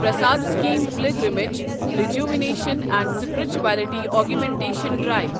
Prasad scheme pilgrimage rejuvenation and spirituality augmentation drive